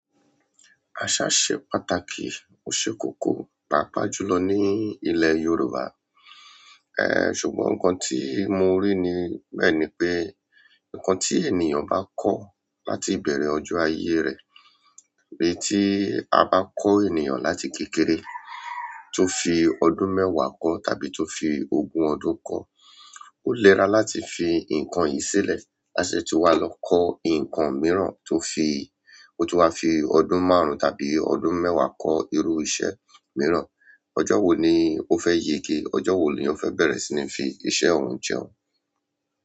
Àṣà ṣe pàtàkì, ò ṣe kókó, pàápàá jùlọ ní ilè Yorùbá. Ehn, ṣùgbọ́n ǹkan tí mo rí ni bẹ́ẹ̀ ni pé, ǹkan tí ènìyàn bá kọ láti ìbẹ̀rẹ̀ ọjọ́ ayé rẹ̀, òun ti bá kọ ènìyàn láti kékeré to fi ọdún mẹ́wàá kọ tàbí ti o fi ogún ọdún kọ, òlera láti fi nkán yìí silẹ la ṣẹ̀ ti wa lọ kọ nkán mìíràn o tun wa fi ọdún márùn tàbí ọdún mẹ́wàá kọ irú iṣẹ́ mìíràn. Ọjọ́ wo ni ó fẹ́ yége? Ọjọ́ wo ni ó fẹ́ bẹ̀rẹ̀ sí ní fi iṣẹ́ ọ̀un jẹun?